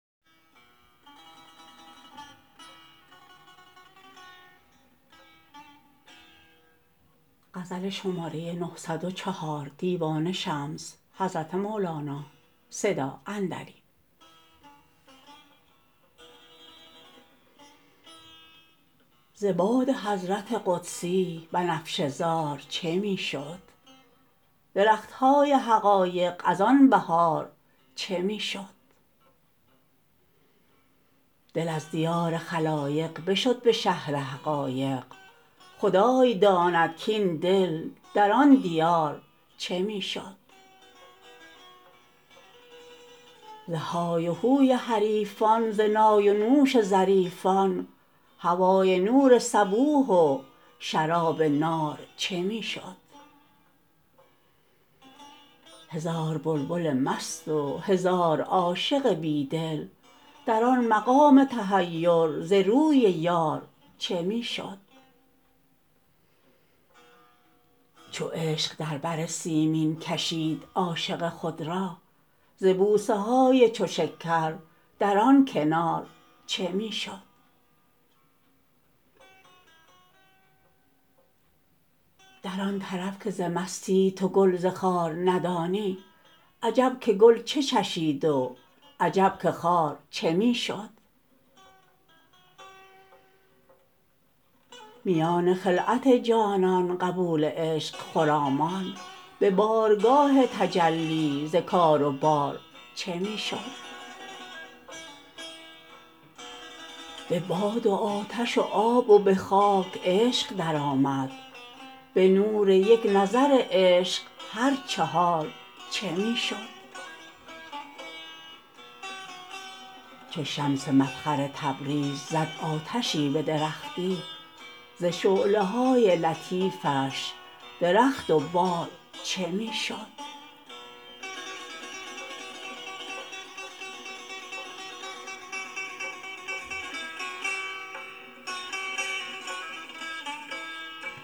ز باد حضرت قدسی بنفشه زار چه می شد درخت های حقایق از آن بهار چه می شد دل از دیار خلایق بشد به شهر حقایق خدای داند کاین دل در آن دیار چه می شد ز های و هوی حریفان ز نای و نوش ظریفان هوای نور صبوح و شراب نار چه می شد هزار بلبل مست و هزار عاشق بی دل در آن مقام تحیر ز روی یار چه می شد چو عشق در بر سیمین کشید عاشق خود را ز بوسه های چو شکر در آن کنار چه می شد در آن طرف که ز مستی تو گل ز خار ندانی عجب که گل چه چشید و عجب که خار چه می شد میان خلعت جانان قبول عشق خرامان به بارگاه تجلی ز کار و بار چه می شد به باد و آتش و آب و به خاک عشق درآمد به نور یک نظر عشق هر چهار چه می شد چو شمس مفخر تبریز زد آتشی به درختی ز شعله های لطیفش درخت و بار چه می شد